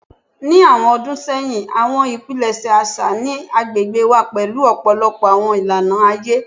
Ni awọn ọdun sẹyin, awọn ipilẹṣẹ aṣa ni agbegbe wa pẹlu ọpọlọpọ awọn ilana aye